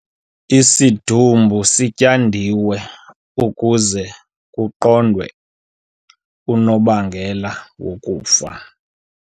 Isidumbu sityandiwe ukuze kuqondwe unobangela wokufa